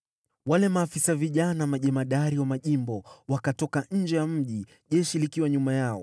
Wale maafisa vijana majemadari wa majimbo wakatoka nje ya mji jeshi likiwa nyuma yao,